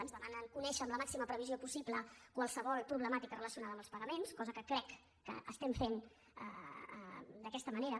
ens demanen conèixer amb la màxima previsió possible qualsevol problemàtica relacionada amb els pagaments cosa que crec que estem fent d’aquesta manera